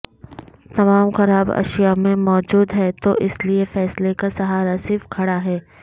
تمام خراب اشیاء میں موجود ہے تو اس لیے فیصلے کا سہارا صرف کھڑا ہے